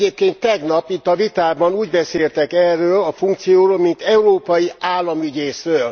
Egyébként tegnap, itt a vitában úgy beszéltek erről a funkcióról, mint európai államügyészről.